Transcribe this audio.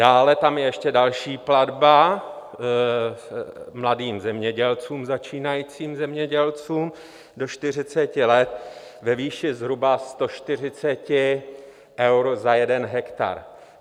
Dále tam je ještě další platba mladým zemědělcům, začínajícím zemědělcům do 40 let ve výši zhruba 140 euro za jeden hektar.